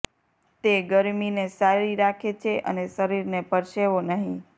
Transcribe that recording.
તે ગરમીને સારી રાખે છે અને શરીરને પરસેવો નહીં